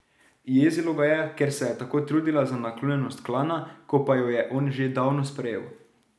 Jezilo ga je, ker se je tako trudila za naklonjenost klana, ko pa jo je on že davno sprejel.